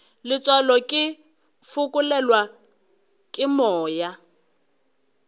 letswalo ke fokelwa ke moya